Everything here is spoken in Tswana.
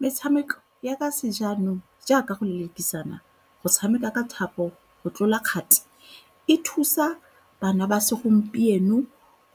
Metshameko ya ka se jaanong jaaka go lelekisana go tshameka ka thapo go tlola kgati e thusa bana ba segompieno